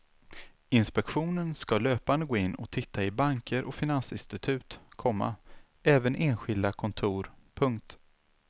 Inspektionen ska löpande gå in och titta i banker och finansinstitut, komma även enskilda kontor. punkt